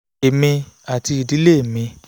èmi àti ìdílé mi